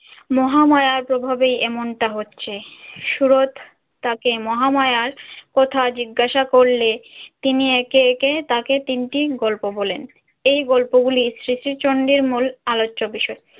মহামায়ার প্রভাবেই এমনটা হচ্ছে। সুরত তাকে মহামায়ার কথা জিজ্ঞাসা করলে তিনি একে একে তাকে তিনটি গল্প বলেন। এই গল্প গুলি শ্রী শ্রী চণ্ডীর মূল আলোচ্য বিষয়।